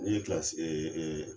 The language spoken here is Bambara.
Ne ye